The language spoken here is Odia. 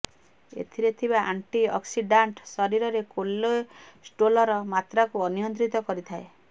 ଏଥିରେ ଥିବା ଆଣ୍ଟିଅକ୍ସିଡାଣ୍ଟ ଶରୀରରେ କୋଲେଷ୍ଟୋଲର ମାତ୍ରାକୁ ନିୟନ୍ତ୍ରିତ କରିଥାଏ